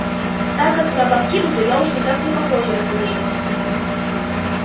так как на бавкиду то я уж никак не похожа разумеется